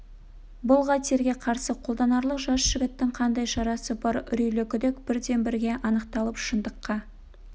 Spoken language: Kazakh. бұл қатерге қарсы қолданарлық жас жігіттің қандай шарасы бар үрейлі күдік бірден бірге анықталып шындыққа